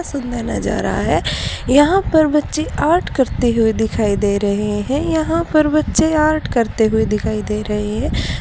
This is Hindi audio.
सुंदर नजारा है यहां पर बच्चे आर्ट करते हुए दिखाई दे रहे हैं यहां पर बच्चे आर्ट करते हुए दिखाई दे रहे हैं।